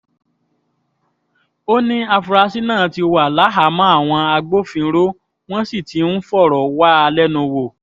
ó ní àfúrásì náà ti wà láhàámọ̀ àwọn agbófinró wọ́n sì ti ń fọ̀rọ̀ wá a lẹ́nu wò